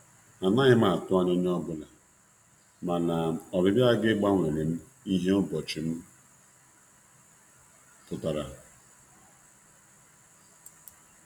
Anaghị m atụ anya onye ọ anya onye ọ bụla, mana ọbịbịa gị gbanwerem ihe ụbọchị m pụtara.